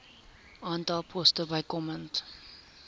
aantal poste bykomend